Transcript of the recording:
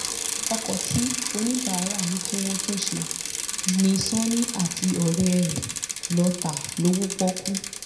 ọkọ̀ tí oníbàárà ní kí wọ́n tún ṣe ni sani àtọ̀rẹ́ ẹ̀ lọ́ọ́ ta lọ́wọ́ pọ́ọ́kú